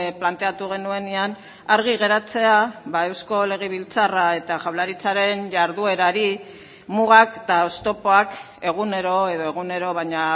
planteatu genuenean argi geratzea eusko legebiltzarra eta jaurlaritzaren jarduerari mugak eta oztopoak egunero edo egunero baina